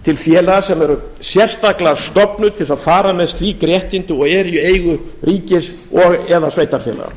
til félaga sem eru sérstaklega stofnuð til þess að fara með slík réttindi og eru í eigu ríkis og eða sveitarfélaga